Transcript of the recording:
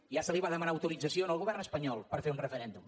ja se li va demanar autorització al govern espanyol per fer un referèndum